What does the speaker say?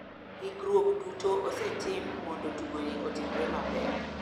Hikruok duto osetim mondo tugoni otimre maber.